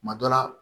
Kuma dɔ la